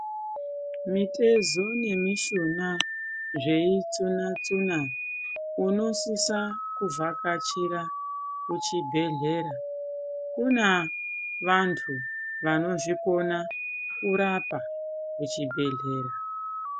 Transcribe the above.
Mitezo nemishuna zveitsuna tsuna unosisa kuvhakachira kuchibhedhleya kune vantu vanozvikona kurapa kuchibhedhleya.